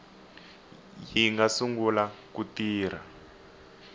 yi nga sungula ku tirha